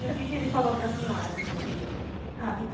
E o que que ele falou para senhora quando ele ligou? Ah fica